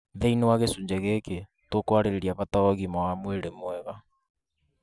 Thĩinĩ wa gĩcunjĩ gĩkĩ, tũkwarĩrĩria bata wa ũgima wa mwĩrĩ mwega